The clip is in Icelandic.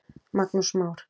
Magnús Már.